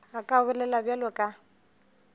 a ka bolela bjalo ka